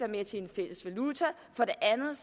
med til en fælles valuta og for det andet